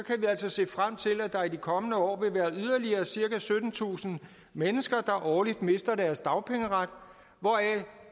altså se frem til at der i de kommende år vil være yderligere cirka syttentusind mennesker der årligt mister deres dagpengeret hvoraf